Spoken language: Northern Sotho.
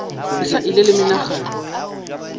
ke sa ile le menagano